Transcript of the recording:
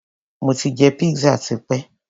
Mo ti jẹ pizza tipé.